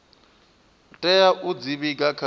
tea u dzi vhiga kha